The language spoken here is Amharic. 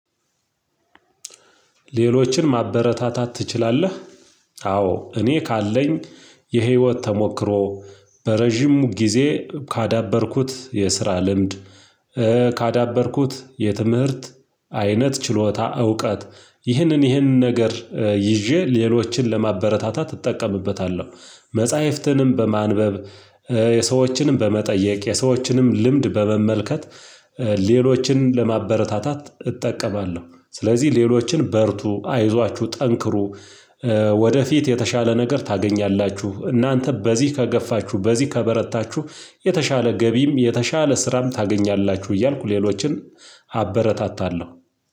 ሌሎችን ማበረታታት ትችላለህ? አዎ እኔ ካለኝ የህይወት ተሞክሮ፣ በረጅም ጊዜ ካዳበርኩት የስራ ልምድ ካዳበርኩት የትምህርት አይነት፣ ችሎታ፣ እውቀት ይህንን ይህንን ነገር ይዤ ሌሎችን ለማበረታታት እጠቀምበታለሁ፤ መጽሐፍትንም በማንበብ የሰዎችንም በመጠየቅ፣ የሰዎችንም ልምድ በመመልከት፣ ሌሎችን ለማበረታታት እጠቀማለሁ። ስለዚህ ሌሎችን በርቱ፤ አይዟችሁ፤ ጠንክሩ ወደፊት የተሻለ ነገር ታገኛላችሁ እናንተ በዚህ ከገፋችሁ በዚህ ከበረታችሁ የተሻለ ገቢም የተሻለ ስራም ታገኛላችሁ እያልኩ ሌሎችን አበረታታለሁ።